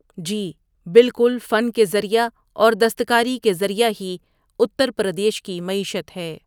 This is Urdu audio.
جی بالکل فن کے ذریعہ اور دستکاری کے ذریعہ ہی اتر پردیش کی معیشت ہے۔